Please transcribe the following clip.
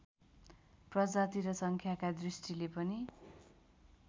प्रजाति र सङ्ख्याका दृष्टिले पनि